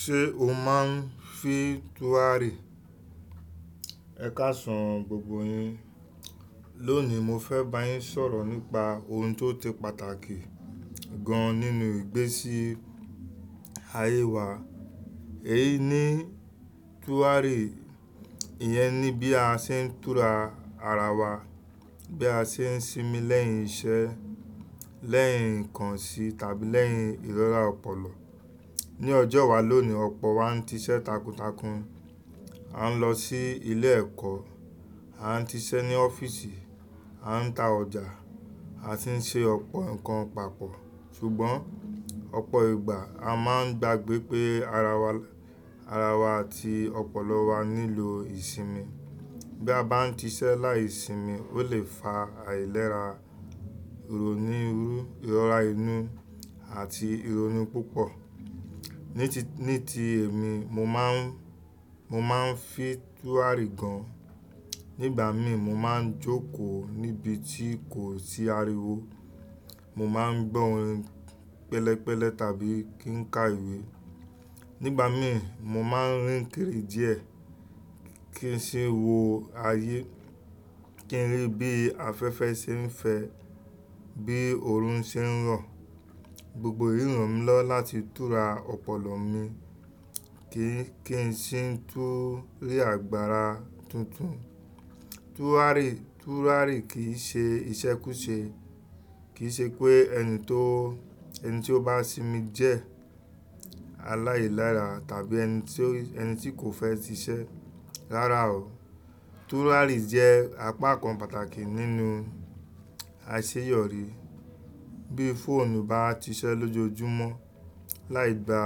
Ṣé o máa ń fi túràrí? Ẹ káṣàn gbogbo yín. Lónìí mo fẹ́ bá yín sọ̀rọ̀ nípa ohun tó ti pàtàkì gan nínú ìgbésí ayé wa. Èyí ni túràrí, ìyẹn ni bí a ṣe ń tura ara wa, bí a ṣe ń sinmi lẹ́yìn iṣẹ́, lẹ́yìn nǹkan sí tàbí lẹ́yìn ìróra ọpọlọ. Ni ọjọ́ wa lónìí ọ̀pọ̀ wa ń ti iṣẹ́ takuntakun, a ń lọ sí ilé ẹ̀kọ́, a ń ti iṣẹ́ ní ọ́fíìsì, a ń ta ọjà, a sì ń ṣe ọ̀pọ̀ nǹkan pàápọ̀. Ṣùgbọ́n, ọ̀pọ̀ ìgbà a máa ń gbagbẹ pé ara wa, ara wa àti ọpọlọ wa nílò ìsinmi. Bí a bá ti iṣẹ́ láìsinmi, ó lè fa àìlera, ìrònú ìrú, ìrọ́ra inú àti ìrònú púpọ̀. Ní ti, ní ti èmi mo máa ń, mo máa ń fi túràrí gan. Nígbà mí mo máa ń jókòó níbi tí kò sí ariwo, mo máa ń gbọ́ orin pẹ̀lẹ́pẹ̀lẹ́ tàbí kí n ka ìwé. Nígbà mí mo máa ń rìn kiri díẹ̀ kí n sì wò ayé, kí n rí bí afẹ́fẹ́ ṣe ń fẹ́, bí òòrùn ṣe ń rọ̀. Gbogbo èyí ràn mí lọ́ láti tura ọpọlọ mi kí n, kí n sì tú rí agbára tuntun. Túràrí, túràrí kì í ṣe iṣẹ́ kú ṣe, kì í ṣe pé ẹni tó, ẹni tí ó bá sinmi jẹ́ aláìlera tàbí ẹni tí ó, ẹni tí kò fẹ́ ti iṣẹ́. Rárá o. Túràrí jẹ́ apá kan pàtàkì nínú àṣeyọrí. Bí fóònù bá ti iṣẹ́ lójoojúmọ́ láì gba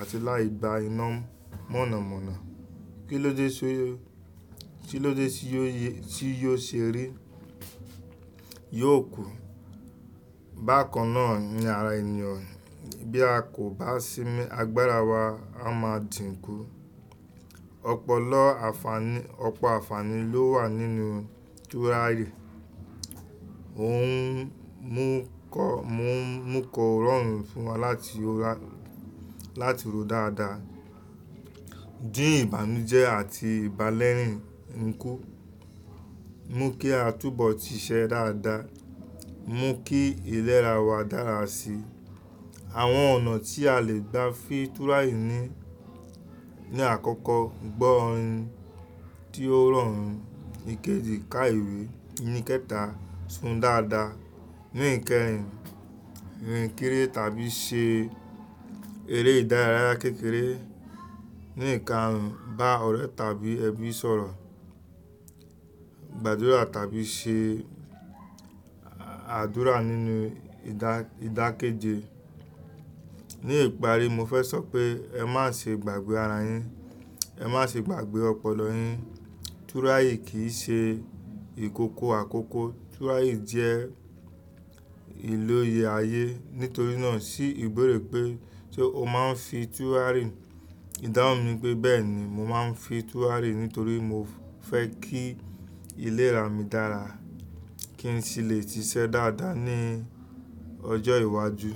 àti láì gba iná mọ̀nàmọ́ná, kí ló dé só, kí ló dé tí yó, tí yó ṣe rí? Yóò kú. Bákan náà ni ara ènìyàn bí a kò bá sinmi, agbára wa á máa dìn kú. Ọpọlọ àfàní, ọ̀pọ̀ àfàní ló wà nínú túràrí. Ó ń mú kọ, mú, mú kọ ọ̀rọ̀ rorun fún wa láti ó rà, láti ro dáadáa, dín ìbànújẹ́ àti ìbálẹ́rìn ńkú, mú kí á túbọ̀ ti iṣẹ́ dáadáa, mú kí ìlera wa dára sí i. Àwọn ọ̀nà tí a lè gbá fi túràrí ni, ní àkọ́kọ́ gbọ́ orin tí ó rọ̀rùn, ìkéde, ká ìwé, ní kẹ́ta sùn dáadáa, ní ìkẹ́rìn rìn kiri tàbí ṣe eré ìdárayá kékeré, ní ìkarun bá ọ̀rẹ́ tàbí ẹbí sọ̀rọ̀, gbàdúrà tàbí ṣe àdúrà nínú ìdá, ìdákéje. Ni ìparí mo fẹ́ sọ pé ẹ má ṣe gbàgbé ara yín, ẹ má ṣe gbàgbé ọpọlọ yín. Túràrí kì í ṣe ìkòkò àkókò. Túràrí jẹ́ ìlò iye ayé. Nítorí náà ṣí ìbéèrè pé ṣé o máa ń fi túràrí, ìdáhùn mi pé bẹ́ẹ̀ ni, mo máa ń fi túràrí nítorí mo fẹ́ kí ìlera mi dára, kí n sì lè ti iṣẹ́ dáadáa ní ọjọ́ iwájú.